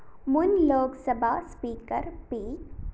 മുന്‍ Lok Sabha speaker P